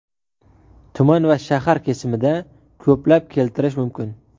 tuman va shahar kesimida ko‘plab keltirish mumkin.